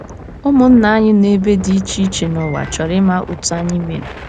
Ụmụnna anyị nọ n’ebe dị iche iche n’ụwa chọrọ ịma otú anyị mere.